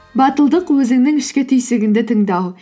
батылдық өзіңнің ішкі түйсігіңді тыңдау